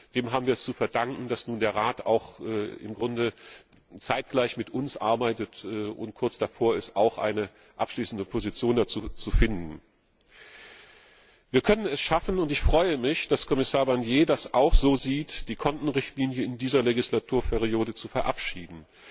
Dem haben wir es zu verdanken, dass nun auch der Rat im Grunde zeitgleich mit uns arbeitet und kurz davor ist, eine abschließende Position dazu zu finden. Wir können es schaffen und ich freue mich, dass Kommissar Barnier das auch so sieht die Kontenrichtlinie in dieser Wahlperiode zu verabschieden.